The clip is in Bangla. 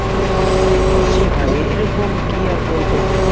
জি ভাই. এরকম কি আর বলবো?